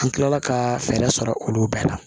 An kilala ka fɛɛrɛ sɔrɔ olu bɛɛ la